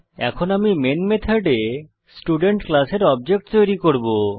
এখন আমি মেন মেথডে স্টুডেন্ট ক্লাসের অবজেক্ট তৈরী করব